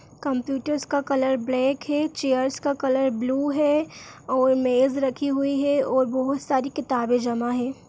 कंप्युटरर्स का colour black है chairs का कलर ब्लू है और मेज रखी हुई है और बहोत सारी किताबे जमा है।